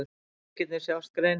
Árhringirnir sjást greinilega.